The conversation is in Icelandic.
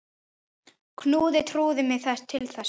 Knúði trúin mig til þess?